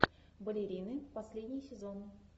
балерины последний сезон